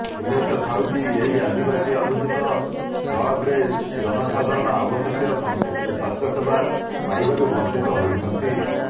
ଉଲ୍ଲେଖ ଥାଉକି ଏହି ଆଦିବାସୀ ଅଧ୍ୟୁଷିତ ବ୍ଳକ୍ରେ ଜନସାଧାରଣ ଆବଶ୍ୟକୀୟ ସ୍ୱାସ୍ଥ୍ୟ ସେବା ପାଇବାରୁ ବଂଚିତ ହୋଇଛନ୍ତି